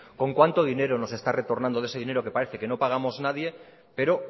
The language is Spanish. con cuánto dinero nos está retornando de ese dinero que parece que no pagamos nadie pero